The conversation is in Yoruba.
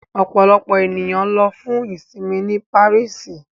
Ọ̀pọ̀lọpọ̀ ènìyàn lọ fún ìṣinmí ní Paríṣì